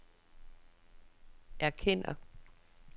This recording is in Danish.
erkender